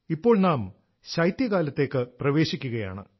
ഇപ്പോൾ നാം ശൈത്യകാലത്തേക്ക് പ്രവേശിക്കുകയാണ്